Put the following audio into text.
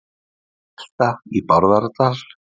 Bílvelta í Bárðardal